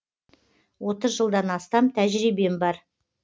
отыз жылдан астам тәжірибем бар